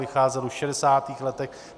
Vycházel už v šedesátých letech.